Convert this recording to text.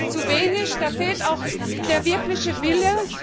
Das ist zu wenig, da fehlt auch der wirkliche Wille.